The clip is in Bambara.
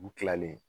U kilalen